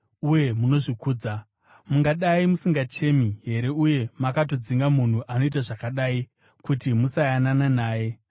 Uye munozvikudza! Mungadai musingachemi here uye makatodzinga munhu anoita zvakadai kuti musayanana naye?